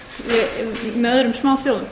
styrks með öðrum smáþjóðum